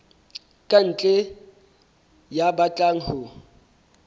ka ntle ya batlang ho